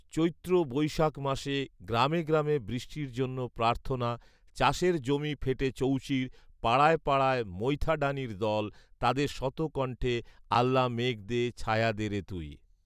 চৈত্র বৈশাখ মাসে গ্রামে গ্রামে বৃষ্টির জন্য প্রার্থনা , চাষের জমি ফেটে চৌচির, পাড়ায় পাড়ায় মৈথাড়ানির দল, তাদের শত কণ্ঠে ‘ আল্লা মেঘ দে, ছায়া দে রে তুই’